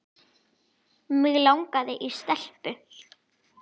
Mig langaði í stelpu.